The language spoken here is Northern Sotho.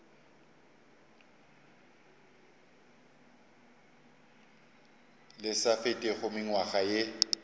le sa fetego mengwaga ye